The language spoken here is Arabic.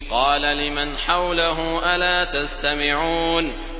قَالَ لِمَنْ حَوْلَهُ أَلَا تَسْتَمِعُونَ